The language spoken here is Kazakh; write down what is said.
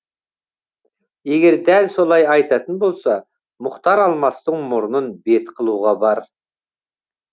егер дәл солай айтатын болса мұхтар алмастың мұрнын бет қылуға бар